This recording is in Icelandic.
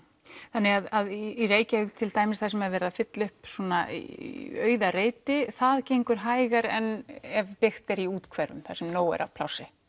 þannig að í Reykjavík til dæmis þar sem er verið að fylla upp í auða reiti það gengur hægar en ef byggt er í úthverfum þar sem nóg er af plássi